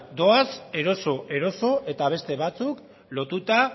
doaz eroso eroso eta beste batzuk lotuta